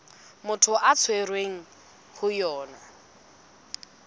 motho a tshwerweng ho yona